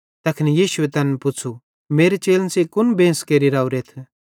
तैखन यीशुए तैन पुच़्छ़ू मेरे चेलन सेइं कुन बेंस केरि राओरेथ